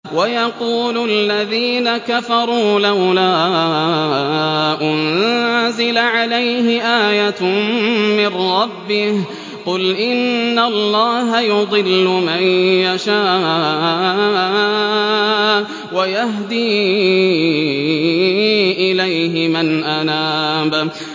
وَيَقُولُ الَّذِينَ كَفَرُوا لَوْلَا أُنزِلَ عَلَيْهِ آيَةٌ مِّن رَّبِّهِ ۗ قُلْ إِنَّ اللَّهَ يُضِلُّ مَن يَشَاءُ وَيَهْدِي إِلَيْهِ مَنْ أَنَابَ